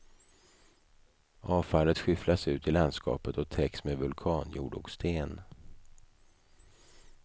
Avfallet skyfflas ut i landskapet och täcks med vulkanjord och sten.